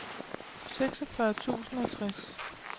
seksogfyrre tusind og tres